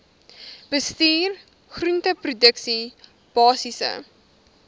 bestuur groenteproduksie basiese